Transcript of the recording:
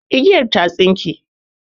Igiyan ya tsinke.